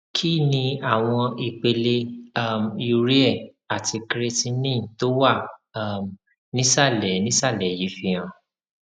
kí ni àwọn ipele um urea àti creatinine tó wà um nísàlẹ nísàlẹ yìí fihàn